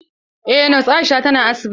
Eh nos Aisha ta na asibiti.